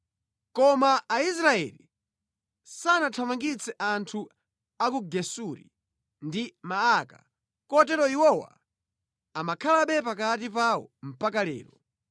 Koma Aisraeli sanathamangitse anthu a ku Gesuri ndi Maaka, kotero iwowa amakhalabe pakati pawo mpaka lero.